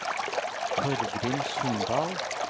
Torgrim Sundal